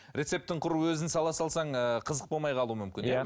рецептің құр өзін сала салсаң ыыы қызық болмай қалу мүмкін иә иә